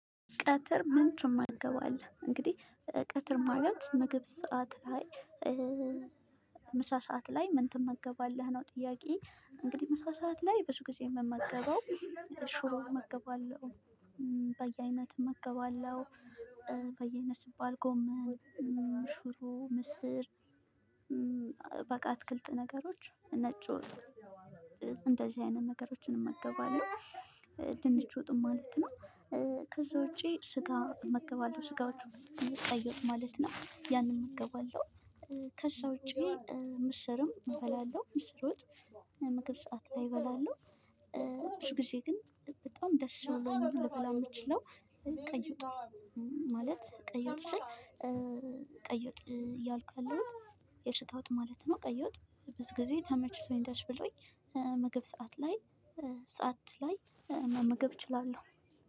ቀትር ምን ትመገባለህ? እንግዲህ ቀትር ማለት ምግብ ሰዓት ላይ ምሳ ሰዓት ላይ ምን ትመገባለህ ነው? ጥያቄው እንግዲህ ምሳ ሰዓት ላይ ብዙ ጊዜ የምመገበው ሽሮ እመገባለሁ። በየአይነት እመገባለሁ በየአይነት ሲባል ጎመን፣ ሽሮ፣ ምስር በቃ አትክልት ነገሮች ነጭ ወጥ እንደዚህ አይነት ነገሮችን እመገባለሁ። ድንች ወጥን ማለት ነው። ከዛ ውጪ ስጋ እመገባለሁ ስጋ ወጥ ቀይ ወጥ ማለት ነው ያንን እመገባለሁ። ከዛ ውጪ ምስርም እበላለሁ ምስር ውጥ ምግብ ሰዓት ላይ እበላለሁ። ብዙ ጊዜ ግን በጣም ደስ ብሎኝ ልበላው የምችለው ቀይ ወጥ። ማለት ቀይ ወጥ ስል ቀይ ወጥ እያልኩ ያለሁት የስጋ ወጥ ማለት ነው። ቀይወ ጥ ብዙ ጊዜ ተመችቶኝ ደስ ብሎኝ ምግብ ሰዓት ላይ ሰዓት ላይ መመገብ እችላለሁ